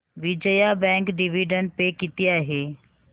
Vijaya bank dividend pay किती आहे